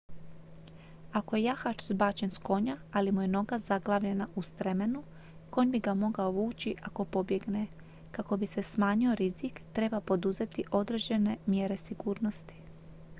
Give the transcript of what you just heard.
ako je jahač zbačen s konja ali mu je noga zaglavljena u stremenu konj bi ga mogao vući ako pobjegne kako bi se smanjio rizik treba poduzeti određene mjere sigurnosti